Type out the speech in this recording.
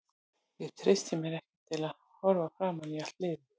Ég treysti mér ekki til að horfa framan í allt liðið.